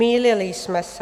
Mýlili jsme se.